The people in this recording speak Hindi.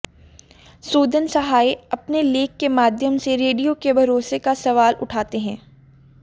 सुदन सहाय अपने लेख के माध्यम से रेडियो के भरोसे का सवाल उठाते है